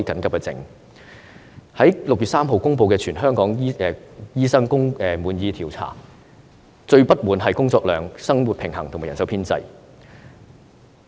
我在6月3日公布的全港醫生工作滿意度調查結果，醫生最不滿的是工作量、工作生活平衡和人手編制。